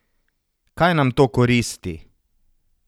Kaj nam to koristi?